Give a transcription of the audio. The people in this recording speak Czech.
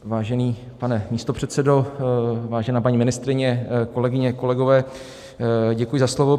Vážený pane místopředsedo, vážená paní ministryně, kolegyně, kolegové, děkuji za slovo.